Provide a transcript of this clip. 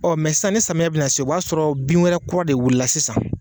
samiyɛ bina na se o b'a sɔrɔ bin wɛrɛ kura de wulila sisan.